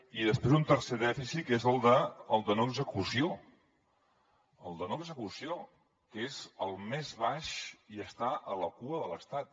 i després un tercer dèficit que és el del de no execució el de no execució que és el més baix i està a la cua de l’estat